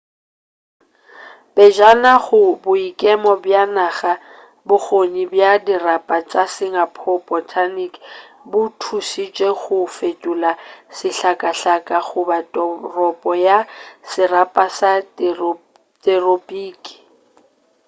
pejana go boikemo bja naga bokgoni bja dirapa tša singapore botanic bo thušitše go fetola sehlakahlake go ba toropo ya serapa sa theropiki